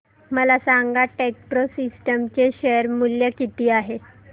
मला सांगा Techpro systems चे शेअर मूल्य किती आहे